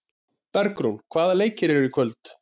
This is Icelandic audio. Bergrún, hvaða leikir eru í kvöld?